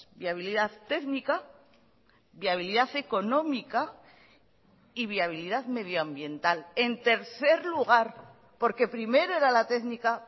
viabilidad técnica viabilidad económica y viabilidad medioambiental en tercer lugar porque primero era la técnica